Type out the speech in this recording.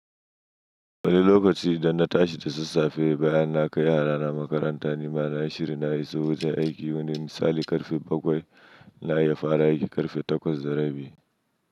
Wani lokaci da na tashi da sassafe bayan na kai yarana makaranta, ni ma na yi shiri na iso wajen aiki yawanin misali karfe bakwai na yi fara aiki karfe takwas da rabi.